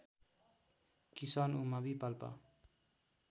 किसान उमावि पाल्पा